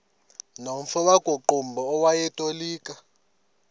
nomfo wakuqumbu owayetolika